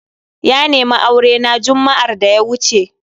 Ya nemi aure na jumma'ar da ya wuce.